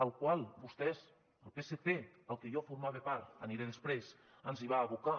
al qual vostès el psc del que jo formava part hi aniré després ens hi van abocar